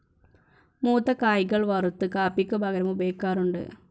മൂത്ത കായകൾ വറുത്ത് കാപ്പിക്ക് പകരം ഉപയോഗിക്കാറുണ്ട്.